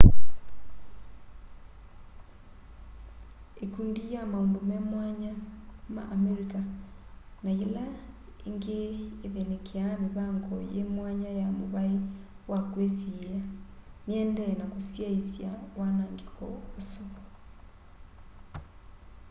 ikundi ya maundu me mwanya ma amerika na yila ingi ythinikiaa mivango yi mwanya ya muvai wa kwisiia niyiendee na kusyaiisya wanangiko usu